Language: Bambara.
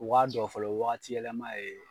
U k'a dɔn fɔlɔ waati yɛlɛma ye